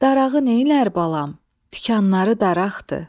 Darağı neynər balam, tikanları daraqdır.